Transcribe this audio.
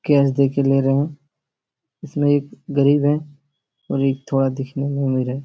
Cash देके ले रहे हैं। इसमें एक गरीब है और एक थोड़ा दिखने में अमीर है।